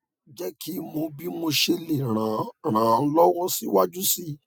je ki mo bi mo se le ran ran lowo si waju si